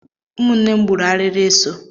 Ụmụnne m gburu arịrị eso.